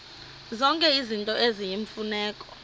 zonke izinto eziyimfuneko